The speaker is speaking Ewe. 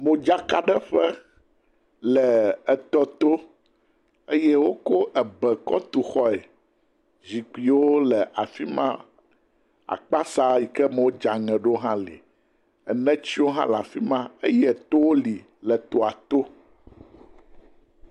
Modzakaɖeƒe le etɔ to eye wokɔ ebe kɔ tu xɔe. Zikpuiwo le afi ma, akpasa yike me wodzea ŋe ɖo hã li, enetiwo le afi ma eye etowo li le etɔa to.